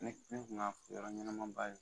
Ne ne kun y'a yɔrɔ ɲɛnama ba ye